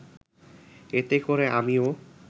এতে করে আমিও